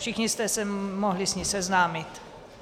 Všichni jste se mohli s ní seznámit.